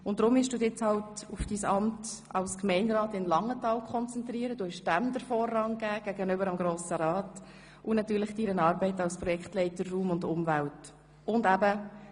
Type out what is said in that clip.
Du hast den Vorrang deinem Amt als Gemeinderat in Langenthal und natürlich deiner Arbeit als Projektleiter «Raum und Umwelt» gegenüber dem Grossen Rat gegeben.